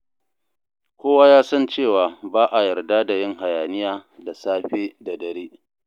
Kowa ya san cewa ba a yarda da yin hayaniya da safe da dare.